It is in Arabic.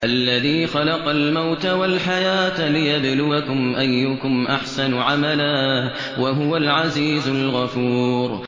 الَّذِي خَلَقَ الْمَوْتَ وَالْحَيَاةَ لِيَبْلُوَكُمْ أَيُّكُمْ أَحْسَنُ عَمَلًا ۚ وَهُوَ الْعَزِيزُ الْغَفُورُ